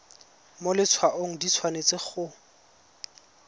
mo letshwaong di tshwanetse go